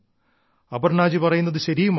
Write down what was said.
അപർണ്ണാജി പറയുന്നത് ശരിയുമാണ്